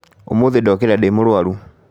ũmũthĩ ndokĩra ndĩ mũrwaru